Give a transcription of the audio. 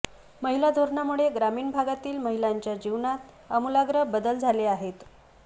महिला धोरणामुळे ग्रामीण भागातील महिलांच्या जीवनात आमूलाग्र बदल झाले आहेत